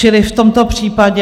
Čili v tomto případě...